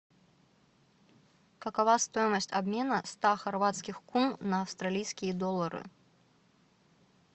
какова стоимость обмена ста хорватских кун на австралийские доллары